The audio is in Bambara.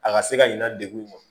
A ka se ka ɲina degu